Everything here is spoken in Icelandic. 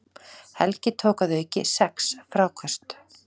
Helgi tók að auki sex fráköst